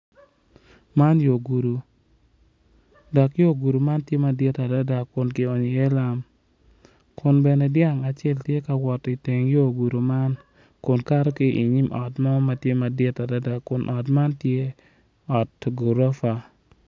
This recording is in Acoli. Man yo gudo atura dok atura man tye kala maleng kun tye matar kun nyig kic acel tye ma opye i kom atura man kun nyig kic tye ka cwe=iyo moc atura man kun nyig kic man ngey tye ma tye yeryer.